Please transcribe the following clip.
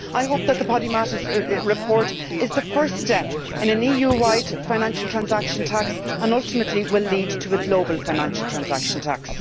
I hope that the Podimata report is the first step in an EU wide financial transaction tax and ultimately will lead to a global financial transaction tax.